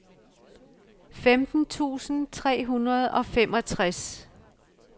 femten tusind tre hundrede og femogtres